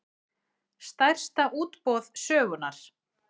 Stærsta útboð sögunnar